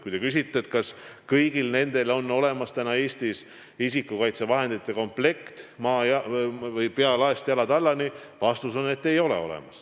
Kui te küsite, kas neil kõigil on Eestis olemas isikukaitsevahendite komplekt, pealaest jalatallani, siis vastus on, et ei ole.